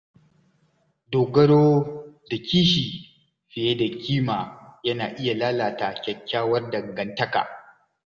Dogaro da kishi fiye da kima yana iya lalata kyakkyawar dangantaka.